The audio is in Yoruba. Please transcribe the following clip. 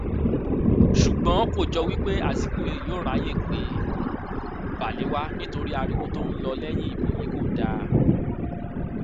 ṣùgbọn kò jọ pé azikiwe yóò ráàyè pé balewa nítorí ariwo tó ń lọ lẹyìn ìbò yìí kò dáa